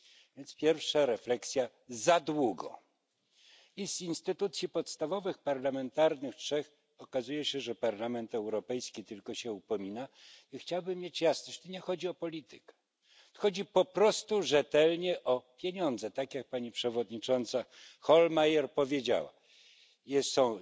Więc pierwsza refleksja za długo, i z instytucji podstawowych trzech okazuje się, że Parlament Europejski tylko się upomina. Ja chciałbym mieć jasność, tu nie chodzi o politykę, chodzi po prostu rzetelnie o pieniądze, tak jak pani przewodnicząca Hohlmeier powiedziała, są